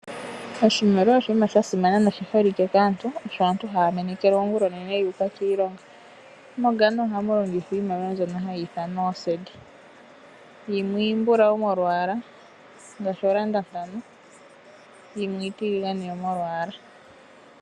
Oshimaliwa oshinima sha simana noshi holike kaantu. Sho osho aantu haa meneka oonguloonene yu uka kiilonga. MoGhana ohamu longithwa iimaliwa mbyono hayi ithanwa ooCedi. Yimwe iimbulawu molwaala ngaashi oocedi ntano, yo yimwe iitiligane molwaala.